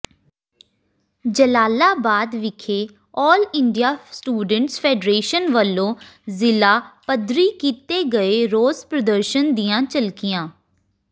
ਜਲਾਲਾਬਾਦ ਵਿਖੇ all India students federation ਵੱਲੋਂ ਜ਼ਿਲਾ ਪੱਧਰੀ ਕੀਤੇ ਗਏ ਰੋਸ ਪ੍ਰਦਰਸ਼ਨ ਦੀਆਂ ਝਲਕੀਆਂ